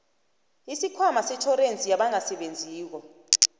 isikhwama setjhorensi yabangasebenziko